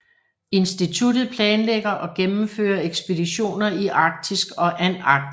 Instituttet planlægger og gennemfører ekspeditioner i Arktis og Antarktis